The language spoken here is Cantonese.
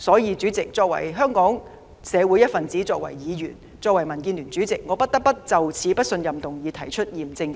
因此，主席，作為香港社會一分子、議員和民主建港協進聯盟的主席，我不得不就這項不信任議案提出嚴正反對。